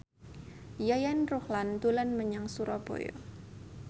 Yayan Ruhlan dolan menyang Surabaya